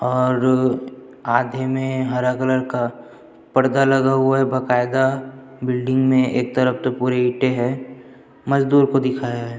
और आधे में हरे कलर का पर्दा लगा हुआ है बाकयदा बिल्डिंग में एक तरफ तो पुरे ईटे है मजदूर को दिखाए है।